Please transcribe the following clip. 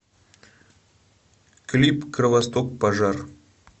клип кровосток пожар